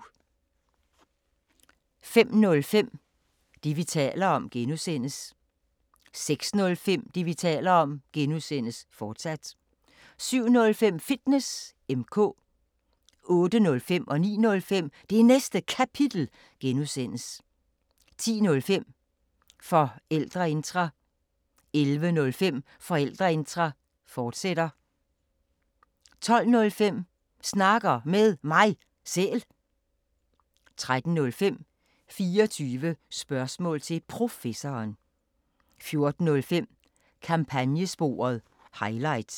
05:05: Det, vi taler om (G) 06:05: Det, vi taler om (G), fortsat 07:05: Fitness M/K 08:05: Det Næste Kapitel (G) 09:05: Det Næste Kapitel (G) 10:05: Forældreintra 11:05: Forældreintra, fortsat 12:05: Snakker Med Mig Selv 13:05: 24 spørgsmål til Professoren 14:05: Kampagnesporet – highlights